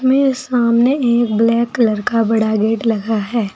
मेरे सामने एक ब्लैक कलर का बड़ा गेट लगा है।